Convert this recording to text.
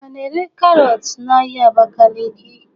A na-ere karọt n'ahia Abakaliki?